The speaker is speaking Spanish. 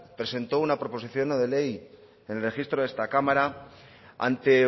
presentó una proposición no de ley en el registro de esta cámara ante